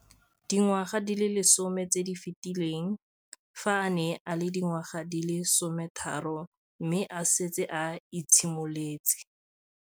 Dingwaga di le 10 tse di fetileng, fa a ne a le dingwaga di le 23 mme a setse a itshimoletse